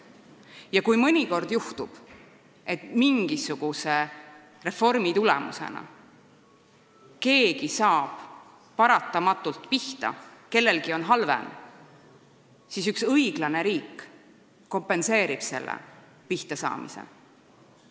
Ja kui mõnikord juhtub, et mingisuguse reformi tulemusena keegi saab paratamatult pihta, kellelgi on halvem, siis üks õiglane riik kompenseerib selle pihtasaamise.